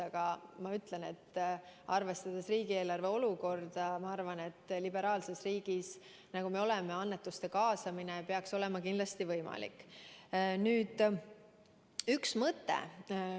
Aga arvestades meie riigieelarve olukorda, ma arvan, et liberaalses riigis, nagu me oleme, peaks annetuste kaasamine kindlasti võimalik olema.